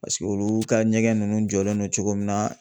Paseke olu ka ɲɛgɛn ninnu jɔlen don cogo min na